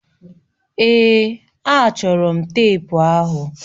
Èè, achọrọ m teepu ahụ.